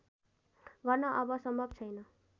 गर्न अब सम्भव छैन